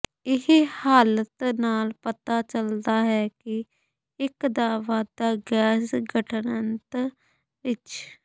ਇਹ ਹਾਲਤ ਨਾਲ ਪਤਾ ਚੱਲਦਾ ਹੈ ਕਿ ਇੱਕ ਦਾ ਵਾਧਾ ਗੈਸ ਗਠਨ ਆੰਤ ਵਿਚ